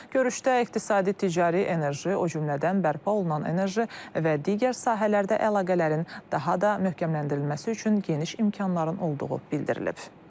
Görüşdə iqtisadi, ticari, enerji, o cümlədən bərpa olunan enerji və digər sahələrdə əlaqələrin daha da möhkəmləndirilməsi üçün geniş imkanların olduğu bildirilib.